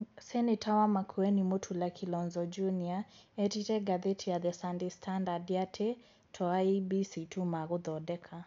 Seneta wa Makueni Mutula Kilonzo Junior erire ngatheti ya The Sunday Standard atĩ to IEBC tũ magothondeka.